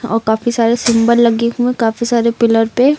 औ काफी सारे सिंबल लगे हुए काफी सारे पिलर पे।